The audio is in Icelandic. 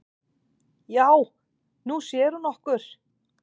"""Já, Nú sér hún okkur"""